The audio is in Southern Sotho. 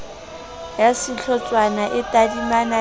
ya sehlotshwana e tadimana le